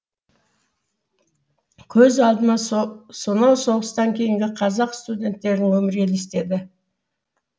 көз алдыма сонау соғыстан кейінгі қазақ студенттерінің өмірі елестеді